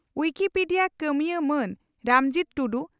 Wikipedia ᱠᱟᱹᱢᱤᱭᱟᱹ ᱢᱟᱱ ᱨᱟᱢᱡᱤᱛ ᱴᱩᱰᱩ